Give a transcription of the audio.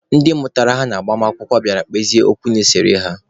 Ndị mụtara ha n'agbamakwụkwọ bịara kpezie okwu na-esere ha.